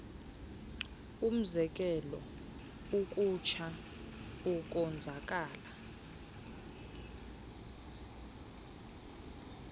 umzekelo ukutsha ukonzakala